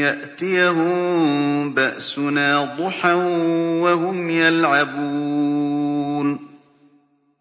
يَأْتِيَهُم بَأْسُنَا ضُحًى وَهُمْ يَلْعَبُونَ